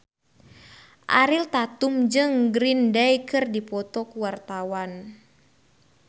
Ariel Tatum jeung Green Day keur dipoto ku wartawan